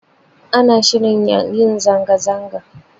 Ana shirin yin zanga-zanga